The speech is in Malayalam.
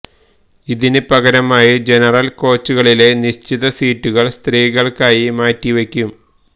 ഇതിന് പകരമായി ജനറല് കോച്ചുകളിലെ നിശ്ചിത സീറ്റുകള് സ്ത്രീകള്ക്കായി മാറ്റിവയ്ക്കും